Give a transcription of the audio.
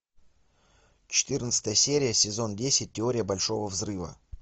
четырнадцатая серия сезон десять теория большого взрыва